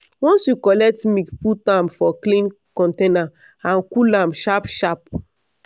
once you collect milk put am for clean container and cool am sharp sharp.